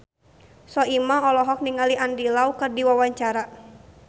Soimah olohok ningali Andy Lau keur diwawancara